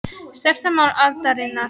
Stærsta mál aldarinnar